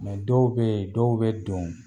dɔw be yen , dɔw be don